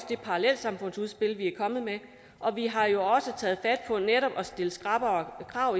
det parallelsamfundsudspil vi er kommet med og vi har jo også taget fat på netop at stille skrappere krav